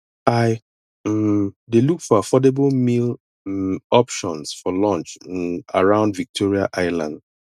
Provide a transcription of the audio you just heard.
i um dey look for affordable meal um options for lunch um around victoria island